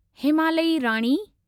हिमालयी राणी